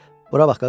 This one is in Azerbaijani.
Bura bax qaqaş!